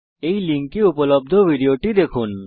এই লিঙ্কে উপলব্ধ ভিডিও টি দেখুন